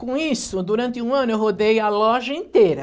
Com isso, durante um ano eu rodei a loja inteira.